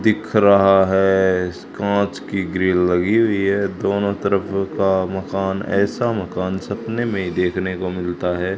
दिख रहा इस कांच की ग्रिल लगी हुई है दोनों तरफ का मकान ऐसा मकान सपने में ही देखने को मिलता है।